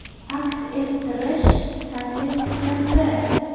aks ettirish taklif qilindi.